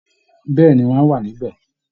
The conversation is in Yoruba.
Bẹẹni, wọ́n á bá wa níbẹ̀